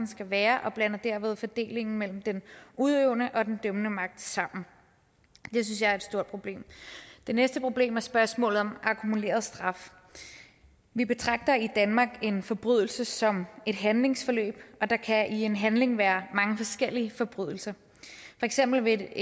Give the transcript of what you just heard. skal være og blander derved fordelingen mellem den udøvende og den dømmende magt sammen det synes jeg er et stort problem det næste problem er spørgsmålet om akkumuleret straf vi betragter i danmark en forbrydelse som et handlingsforløb og der kan i en handling være mange forskellige forbrydelser for eksempel vil